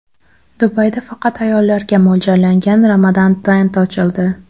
Dubayda faqat ayollarga mo‘ljallangan Ramadan Tent ochildi.